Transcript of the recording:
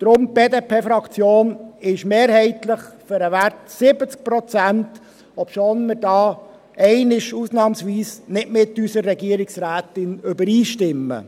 Daher: Die BDP-Fraktion ist mehrheitlich für den 70-Prozent-Wert, obwohl wir da ausnahmsweise einmal nicht mit unserer Regierungsrätin übereinstimmen.